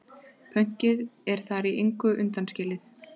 Pönkið er þar í engu undanskilið.